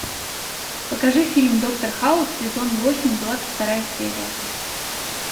покажи фильм доктор хаус сезон восемь двадцать вторая серия